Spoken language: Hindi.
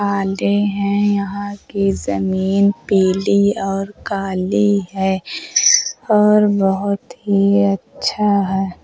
हैं यहाँ की जमींन पीली और काली है और बोहोत ही अच्छा है।